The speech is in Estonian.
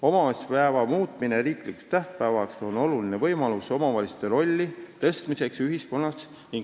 Omavalitsuspäeva muutmine riiklikuks tähtpäevaks annab olulise võimaluse suurendada omavalitsuste rolli ühiskonnas.